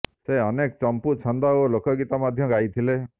ସେ ଅନେକ ଚମ୍ପୁ ଛାନ୍ଦ ଓ ଲୋକଗୀତ ମଧ୍ୟ ଗାଇଥିଲେ